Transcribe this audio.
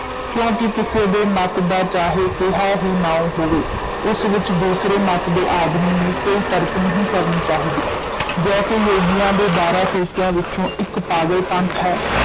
ਕਿਉਂਕਿ ਕਿਸੇ ਦੇ ਮਤ ਦਾ ਚਾਹੇ ਕੇਹਾ ਹੀ ਨਾਉਂ ਹੋਵੇ, ਉਸ ਵਿੱਚ ਦੂਸਰੇ ਮਤ ਦੇ ਆਦਮੀ ਨੂੰ ਕੋਈ ਤਰਕ ਨਹੀਂ ਕਰਨੀ ਚਾਹੀਦੀ ਜੈਸੇ ਯੋਗੀਆਂ ਦੇ ਬਾਰਾਂ ਫ਼ਿਰਕਿਆਂ ਵਿਚੋਂ ਇਕ ਪਾਗਲ ਪੰਥ ਹੈ,